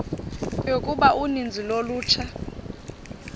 yokuba uninzi lolutsha